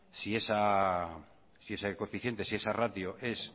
si ese coeficiente si esa ratio es